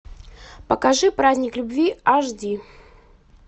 покажи праздник любви аш ди